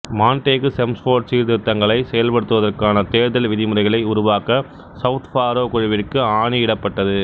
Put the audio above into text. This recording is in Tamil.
மாண்டேகு செம்ஸ்போர்ட் சீர்திருத்தங்களைச் செயல்படுத்துவதற்கான தேர்தல் விதிமுறைகளை உருவாக்க சவுத்பாரோ குழுவிற்கு ஆணியிடப்பட்டது